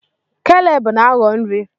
Caleb na agho nri